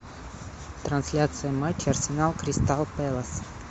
трансляция матча арсенал кристал пэлас